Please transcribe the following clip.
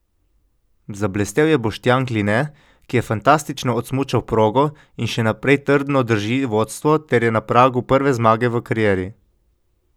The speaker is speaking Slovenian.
Zablestel je Boštjan Kline, ki je fantastično odsmučal progo in še naprej trdno drži vodstvo ter je na pragu prve zmage v karieri.